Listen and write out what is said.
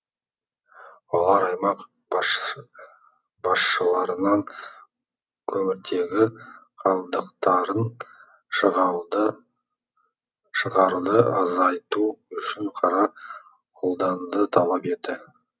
олар аймақ басшыларынан көміртегі қалдықтарын шығаруды азайту үшін қара қолдануды талап етті